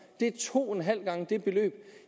det er to en halv gange det beløb